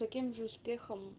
таким же успехом